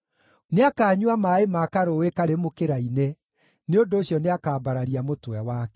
Nĩakanyua maaĩ ma karũũĩ karĩ mũkĩra-inĩ; nĩ ũndũ ũcio nĩakambararia mũtwe wake.